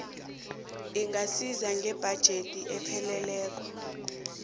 ingasiza ngebhajethi epheleleko